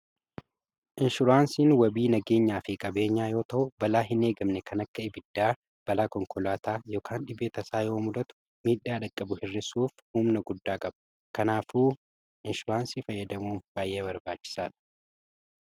Inshuraansiin wabii nageenyaa fi qabeenyaa yoo ta'u; Balaa hineegamne kan akka ibiddaa, balaa konkolaataa yookiin dhibee tasaa yoomudatu miidhaa dhaqqabu hir'isuuf humna guddaa qabu. Kanaafuu inshuraansii fayyadamuun baay'ee barbaachisaa dha.